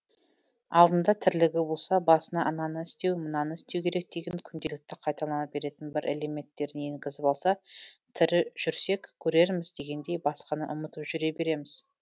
алдында тірлігі болса басына ананы істеу мынаны істеу керек деген күнделікті қайталана беретін бір элементтерін енгізіп алса тірі жүрсек көрерміз дегендей басқаны ұмытып жүре береміз